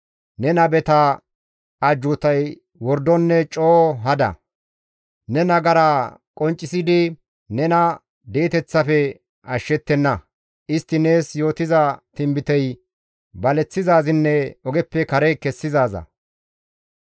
Ne nabeta ajjuutay wordonne coo hada; ne nagara qonccisidi nena di7eteththafe ashshettenna; istti nees yootiza tinbitey baleththizaazinne ogeppe kare kessizaaza.